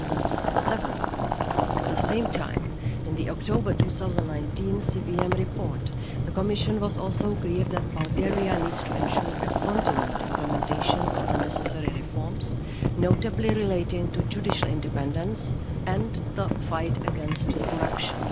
2007. At the same time, in the October 2019 CVM report, the Commission was also clear that Bulgaria needs to ensure continued implementation of the necessary reforms, notably relating to judicial independence and the fight against corruption.